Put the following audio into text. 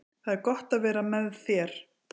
Það er gott að vera með þér.